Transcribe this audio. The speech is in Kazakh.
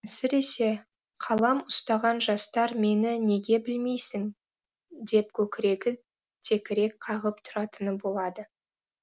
әсіресе қалам ұстаған жастар мені неге білмейсің деп көкірегі текірек қағып тұратыны болады